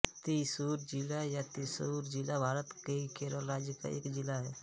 त्रिस्सूर ज़िला या त्रिश्शूर ज़िला भारत के केरल राज्य का एक ज़िला है